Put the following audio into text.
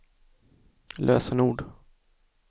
lösenord